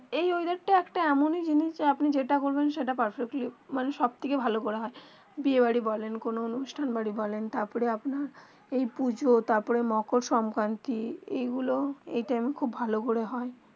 এই বেদার তা একটা এমন জিনিস যেটা বলবেন সব তা পারফেক্টলি মানে সব থেকে ভালো করা হয়ে বিয়ে বাড়ি বলেন কোনো অনুষ্ঠান বাড়ি বলেন তার পরে আপনার এই পুজো তার পরে মাকার সংকৃতি যে গুলু এই টাইম খুব ভালো করে হয়ে